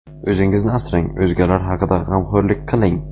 O‘zingizni asrang, o‘zgalar haqida g‘amxo‘rlik qiling.